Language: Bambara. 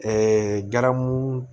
garamu